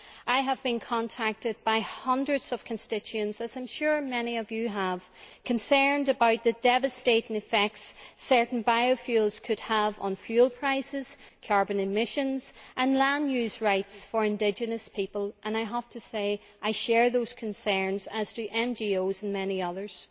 I have been contacted by hundreds of constituents as I am sure many other Members have too concerned about the devastating effects certain biofuels could have on fuel prices, carbon emissions and land use rights for indigenous peoples, and I have to say I share those concerns, as do NGOs and many others.